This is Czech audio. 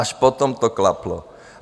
Až potom to klaplo.